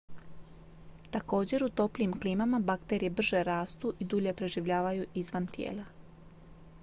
također u toplijim klimama bakterije brže rastu i dulje preživljavaju izvan tijela